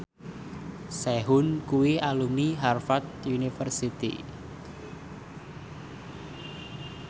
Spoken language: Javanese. Sehun kuwi alumni Harvard university